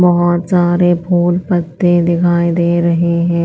बहोत सारे फूल पत्ते दिखाई दे रहे हैं।